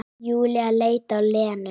Júlía leit á Lenu.